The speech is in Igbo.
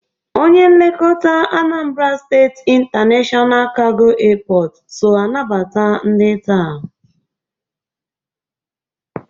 Onye nlekọta Anambra State International Cargo Airport so anabata ndị taa.